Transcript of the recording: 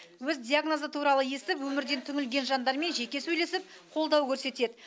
өз диагнозы туралы естіп өмірден түңілген жандармен жеке сөйлесіп қолдау көрсетеді